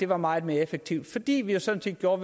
var meget mere effektiv fordi vi jo sådan set gjorde